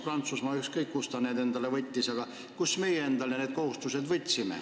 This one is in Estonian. Ma mõtlen Eestit, Prantsusmaa puhul on ükskõik, kust ta need endale võttis.